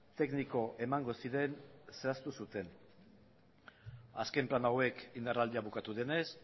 tekniko emango ziren zehaztu zuten azken plan hauek indarraldia bukatu denez